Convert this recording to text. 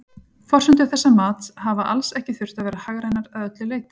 Forsendur þessa mats hafa alls ekki þurft að vera hagrænar að öllu leyti.